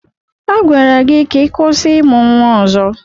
Agwara gị ka ị kwụsị ịmụ nwa ọzọ!